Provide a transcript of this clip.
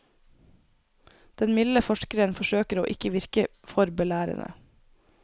Den milde forskeren forsøker å ikke virke for belærende.